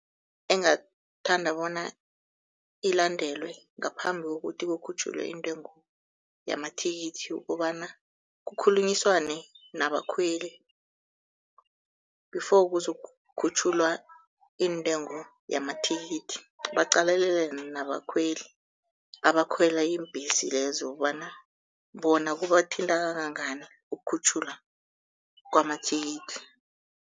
Engathanda bona ilandelwe ngaphambi kokuthi kukhutjhulwe intengo yamathikithi, ukobana kukhulunyiswane nabakhweli before kuzokukhutjhulwa iintengo yamathikithi. Baqalelele nabakhweli abakhwela iimbhesi lezo kobana bona kubathinta kangangani ukukhutjhulwa kwamathikithi.